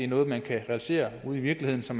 noget man kan realisere ude i virkeligheden så